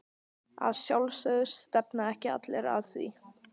Að sjálfsögðu, stefna ekki allir að því?